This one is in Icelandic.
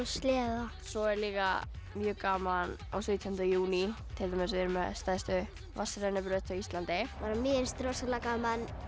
sleða svo er líka mjög gaman á sautjánda júní til dæmis erum við með stærstu vatnsrennibraut á Íslandi mér finnst rosalega gaman